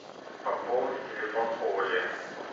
пополни телефон оли